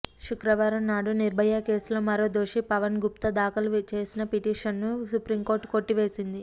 శుక్రవారం నాడు నిర్భయ కేసులో మరో దోషి పవన్ గుప్తా దాఖలు చేసిన పిటిషన్ను సుప్రీంకోర్టు కొట్టివేసింది